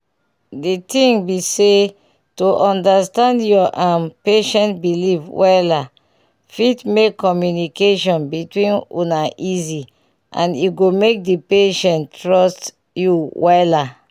di ting be say to understand ur um patient beliefs wella fit make communication between una easy and e go make the patient trust u wella